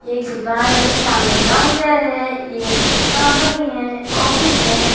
ये एक दुकान है सामने काउंटर है ये एक कंपनी है ऑफिस है।